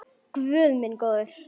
Guð minn góður!